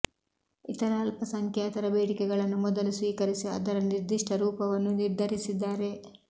ಇತರ ಅಲ್ಪಸಂಖ್ಯಾತರ ಬೇಡಿಕೆಗಳನ್ನು ಮೊದಲು ಸ್ವೀಕರಿಸಿ ಅದರ ನಿರ್ದಿಷ್ಟ ಸ್ವರೂಪವನ್ನು ನಿರ್ಧರಿಸಿದ್ದಾರೆ